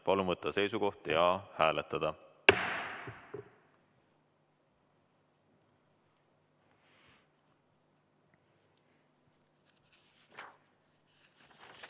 Palun võtta seisukoht ja hääletada!